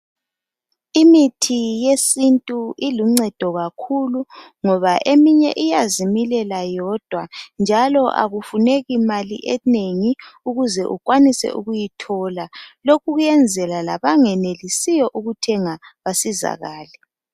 Imithi yesintu iluncedo kakhulu ngoba eminye iyazimilela yodwa njalo akufuneki mali enengi ukuze ukwanise ukuyithola, lokhu kuyenzela labangenelisiyo ukuthenga basizakale.